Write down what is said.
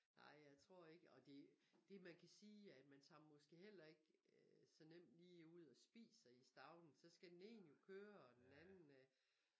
Ej jeg tror ikke og det det man kan sige er man tager måske heller ikke så nemt lige ud og spiser i Stauning så skal den ene jo køre og den anden øh